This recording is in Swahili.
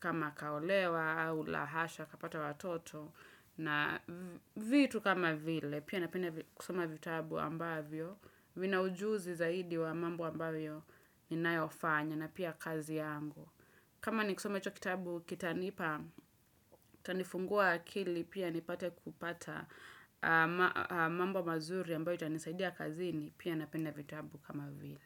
kama kaolewa au lahasha kapata watoto, na vitu kama vile, pia napenda kusoma vitabu ambavyo vina ujuzi zaidi wa mambo ambayo ninayofanya na pia kazi yangu. Kama ni kusoma hicho kitabu kitanipa, kitanifungua akili pia nipate kupata mambo mazuri ambayo itanisaidia kazini pia napenda vitabu kama vile.